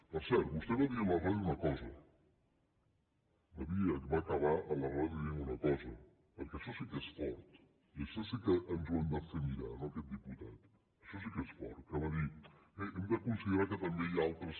per cert vostè va dir a la ràdio una cosa va acabar a la ràdio dient una cosa perquè això sí que és fort i això sí que ens ho hem de fer mirar no aquest diputat això sí que és fort que va dir bé hem de considerar que també hi ha altres